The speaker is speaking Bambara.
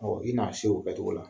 i n'a se u kɛcogo la.